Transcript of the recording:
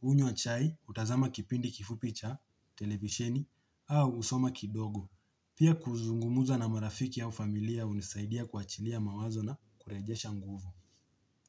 hunywa chai hutazama kipindi kifupi cha televisheni au husoma kidogo. Pia kuzungumza na marafiki au familia hunisaidia kuwachilia mawazo na kurejesha nguvu.